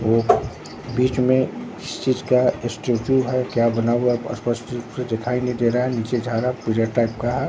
वो बीच में किसी चीज का स्टैचू है क्या बना हुआ स्पष्ट रूप से दिखाई नहीं दे रहा है नीचे झारा पूजा टाइप का है।